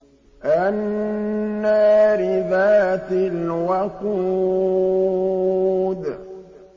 النَّارِ ذَاتِ الْوَقُودِ